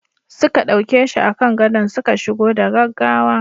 Suka dauke shi a kan gadon suka shigo da gaggawa.